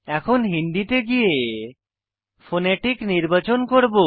এখন হিন্দি তে গিয়ে ফোনেটিক নির্বাচন করব